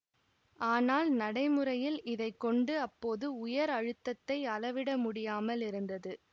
ஆனால் நடைமுறையில் இதைக்கொண்டு அப்போது உயர் அழுத்தத்தை அளவிட முடியாமல் இருந்தது